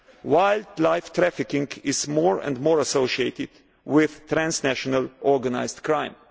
Wildlife trafficking is more and more associated with transnational organised